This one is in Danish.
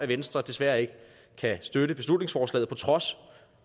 venstre desværre ikke kan støtte beslutningsforslaget på trods